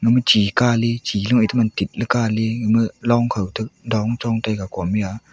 ema chikale chilu ema tit kale gama longko ta dong chongtaiga komeya.